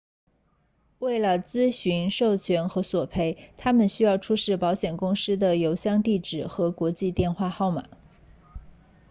为了咨询授权和索赔他们需要出示保险公司的邮箱地址和国际电话号码